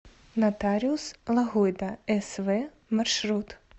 нотариус лагойда св маршрут